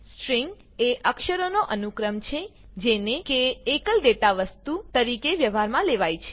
string એ અક્ષરોનો અનુક્રમ છે જેને કે એકલ ડેટા વસ્તુ તરીકે વ્યવહારમાં લેવાય છે